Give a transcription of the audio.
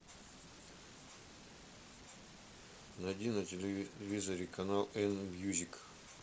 найди на телевизоре канал эн мьюзик